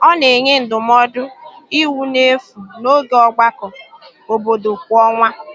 Ọ na-enye ndụmọdụ iwu n’efu n’oge ọgbakọ obodo kwa ọnwa.